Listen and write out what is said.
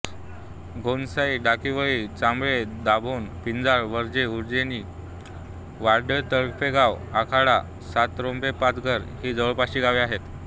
घोणसाई डाकीवळी चांबळे दाभोण पिंजाळ विर्हे उज्जैनी वाडवळीतर्फेगाव आखाडा सातरोंदेपाचघर ही जवळपासची गावे आहेत